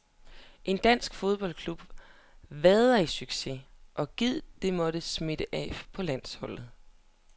En dansk klubfodbold vader i succes, og gid det må smitte af på landsholdet.